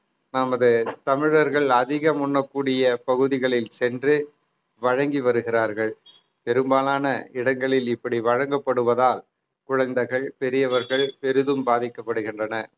நமது தமிழர்கள் அதிகம் உண்ணக்கூடிய பகுதிகளில் சென்று வழங்கி வருகிறார்கள் பெரும்பாலான இடங்களில் இப்படி வழங்கப்படுவதால் குழந்தைகள் பெரியவர்கள் பெரிதும் பாதிக்கப்படுகின்றன